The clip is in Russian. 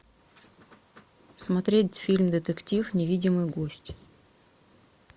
смотреть фильм детектив невидимый гость